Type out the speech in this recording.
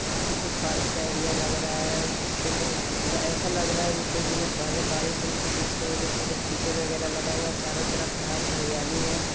यह किसी पार्क का एरिया लग रहा है| पेले बारिस हुआ था जिसकी वजह से कीचड़ लगा हुआ है| चारों तरफ हरीयाली हैं।